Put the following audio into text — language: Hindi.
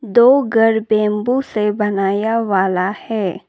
दो घर बंबू से बनाया वाला है।